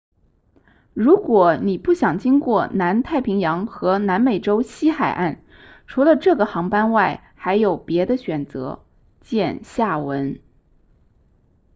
如果你不想经过南太平洋和南美洲西海岸除了这个航班外还有别的选择见下文